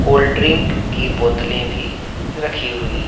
Cold drink की बोतलें भी रखी हुई हैं।